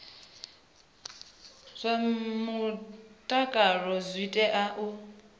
zwa mutakalo dzi tea u